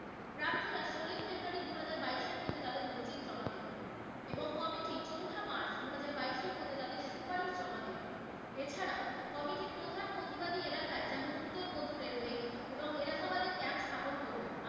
দু হাজার বাইশের মধ্যে তাদের অভিযোগ জমা দেবেন এবং committee চৌঠা মার্চ দু হাজার বাইশের মধ্যে তাদের সুপারিশ জমা দেবেন। এছাড়াও committee প্রধান প্রতিবাদী এলাকায় যেমন উত্তর মধ্য railway এবং এলাহাবাদের camp স্থাপন করবে।